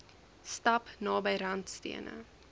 stap naby randstene